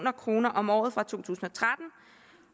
kroner om året fra to tusind